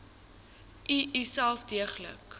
u uself deeglik